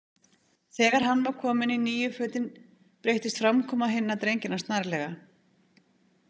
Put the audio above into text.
Þegar hann var kominn í nýju fötin breyttist framkoma hinna drengjanna snarlega.